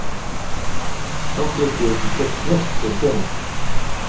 Þá get ég ekki keypt neitt fyrir peninginn.